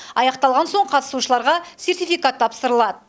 аяқталған соң қатысушыларға сертификат тапсырылады